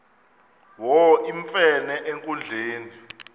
wo iwemfene enkundleni